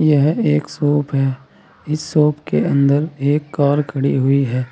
यह एक शॉप है इस शॉप के अंदर एक कार खड़ी हुई है